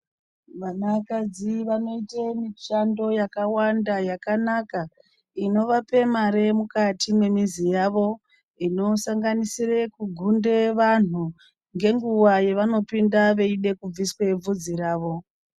Vanakadzi vanoite mishando yakawanda yakanaka inovape mare yemukati memizi yavo inosanganisire kugunde vandu ngenguva yavanopinde veida kubviswe bvudzi ravo.